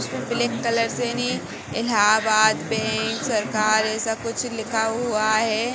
उसको black colour सेनी Allahabad bank सरकार ऐसा कुछ लिखा हुआ हैं।